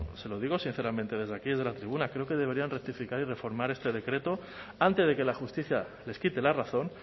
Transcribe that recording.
se lo digo sinceramente desde aquí desde la tribuna creo que deberían rectificar y reformar este decreto antes de que la justicia les quite la razón